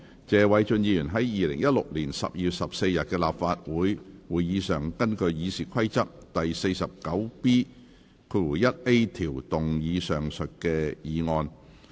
謝偉俊議員在2016年12月14日的立法會會議上，根據《議事規則》第 49B 條動議上述議案。